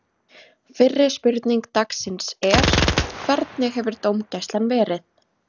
Fyrri spurning dagsins er: Hvernig hefur dómgæslan verið?